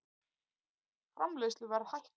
Framleiðsluverð hækkar